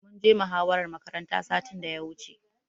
Mun je muhawarar makaranta satin da ya wuce.